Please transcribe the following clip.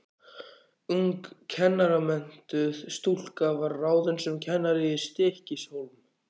Ung kennaramenntuð stúlka var ráðin sem kennari í Stykkishólm.